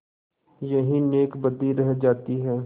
यही नेकबदी रह जाती है